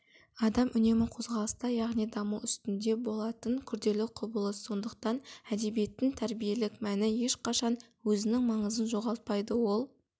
адам үнемі қозғалыста яғни даму үстінде болатын күрделі құбылыс сондықтан әдебиеттің тәрбиелік мәні ешқашан өзінің маңызын жоғалтпайды ол